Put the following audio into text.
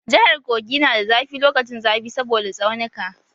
Jahar Kogi na da zafi lokacin zafi saboda tsaunika.